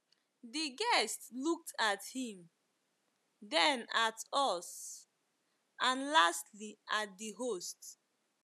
The guest looked at him, then at us, and lastly at the host.